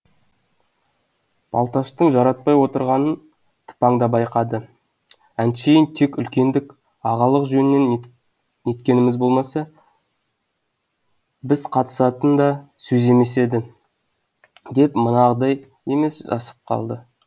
балташтың жаратпай отырғанын тыпаң да байқады әншейін тек үлкендік ағалық жөннен неткеніміз болмаса біз қатысатын да сөз емес еді деп манағыдай емес жасып қалды